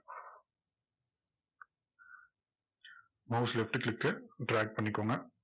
mouse left click க்கு drag பண்ணிக்கோங்க